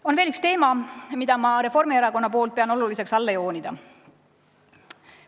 On veel üks teema, mida ma Reformierakonna nimel pean oluliseks alla joonida.